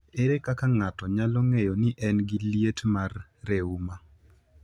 Ere kaka ng’ato nyalo ng’eyo ni en gi liet mar reuma?